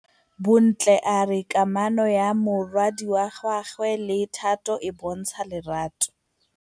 Bontle a re kamanô ya morwadi wa gagwe le Thato e bontsha lerato.